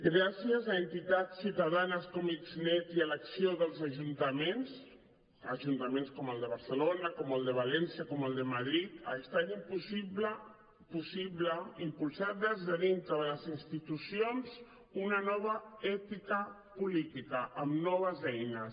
gràcies a entitats ciutadanes com xnet i a l’acció dels ajuntaments ajuntaments com el de barcelona com el de valència com el de madrid ha estat possible impulsar des de dintre de les institucions una nova ètica política amb noves eines